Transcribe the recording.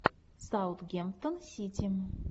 саутгемптон сити